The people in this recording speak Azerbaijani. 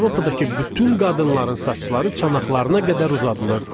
Avropadakı bütün qadınların saçları çanaqlarına qədər uzadılırdı.